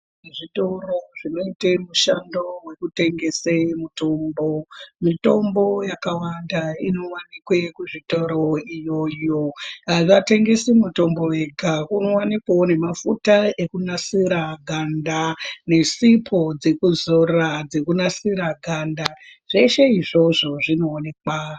Zvitoro zvinoite mushando wekutengese mutombo, mitombo yakawanda inowanikwe kuzvitoro iyoyo. Avatengesi mutombo wega, kunowanikwawo nemafuta ekunasira ganda, nesipo dzekuzora dzekunasira ganda. Zveshe izvozvo zvinoonekwa.